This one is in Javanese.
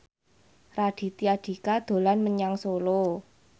Raditya Dika dolan menyang Solo